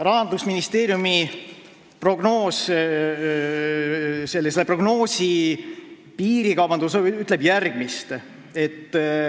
Rahandusministeeriumi prognoos ütleb piirikaubanduse kohta järgmist.